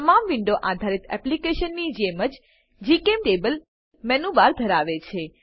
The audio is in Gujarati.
તમામ વિન્ડો આધારિત એપ્લીકેશનની જેમ જ જીચેમ્ટેબલ મેનુબર ધરાવે છે